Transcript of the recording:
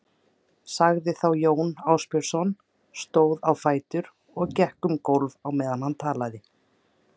sagði þá Jón Ásbjarnarson, stóð á fætur og gekk um gólf á meðan hann talaði